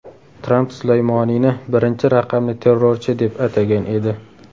Tramp Sulaymoniyni birinchi raqamli terrorchi deb atagan edi .